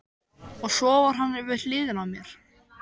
Og svo var hann við hliðina á mér.